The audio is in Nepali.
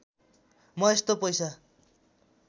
म यस्तो पैसा